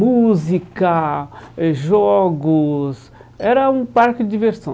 Música eh, jogos... Era um parque de diversão.